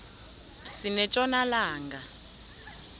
sinetjona langa